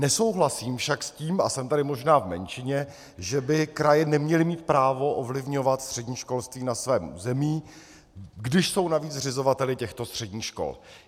Nesouhlasím však s tím, a jsem tady možná v menšině, že by kraje neměly mít právo ovlivňovat střední školství na svém území, když jsou navíc zřizovateli těchto středních škol.